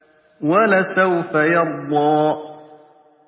وَلَسَوْفَ يَرْضَىٰ